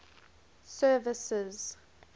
services